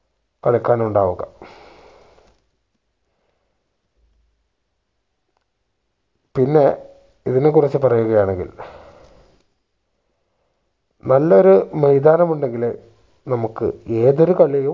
കളിക്കാനുണ്ടാവുക പിന്നെ ഇതിനെക്കുറിച്ചു പറയുകയാണെങ്കിൽ നല്ലൊരു മൈതാനം ഉണ്ടെങ്കിലെ നമ്മക്ക് ഏതൊരു കളിയും